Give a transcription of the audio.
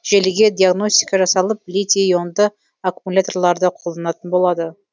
желіге диагностика жасалып литий ионды аккумуляторларды қолданатын болады